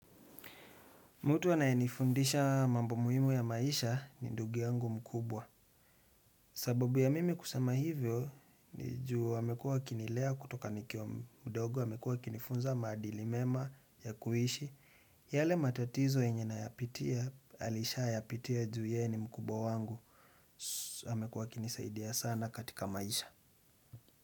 Mutu anayenifundisha mambo muhimu ya maisha ni ndugu yangu mkubwa. Sababu ya mimi kusema hivyo ni juu amekuwa akinilea kutoka nikiwa mdogo amekuwa akinifunza maadili mema ya kuishi. Yale matatizo yenye nayapitia alishayapitia juu ye ni mkubwa wangu amekuwa akinisaidia sana katika maisha.